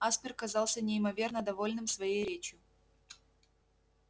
аспер казался неимоверно довольным своей речью